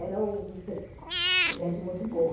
Era gente muito boa.